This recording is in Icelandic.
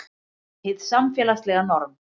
Hið samfélagslega norm